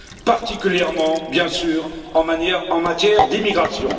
particulièrement, bien sûr, en matière d'immigration.